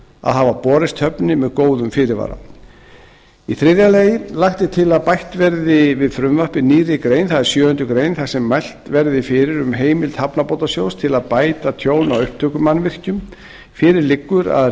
að hafa borist höfninni með góðum fyrirvara þriðja lagt er til að bætt verði við frumvarpið nýrri grein það er sjöunda grein þar sem mælt verði fyrir um heimild hafnabótasjóðs til að bæta tjón á upptökumannvirkjum fyrir liggur að